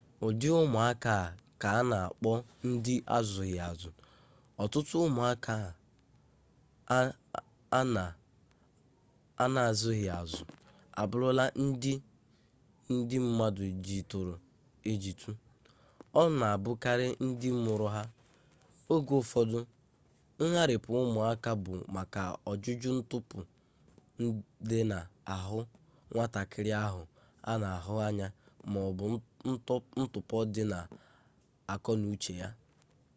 ụdị ụmụaka a ka a na akpọ ndị azụghị azụ. ọtụtụ ụmụaka an na azụghị azụ abụrụla ndị ndị mmadụ jituru ejitu ọ na abụkarị ndị mụrụ ha; oge ụfọdụ ngharịpụ ụmụaka bụ maka ọjụjụ ntụpọ dị na ahụ nwatakịrị ahụ a na ahụ anya maọbụ ntụpọ dị n' akọ n'uche ya